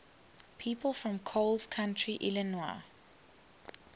people from coles county illinois